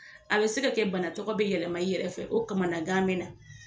A be se ka kɛ bana tɔgɔ be yɛlɛma i yɛrɛ fɛ o kamanagan be na